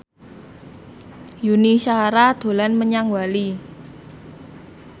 Yuni Shara dolan menyang Bali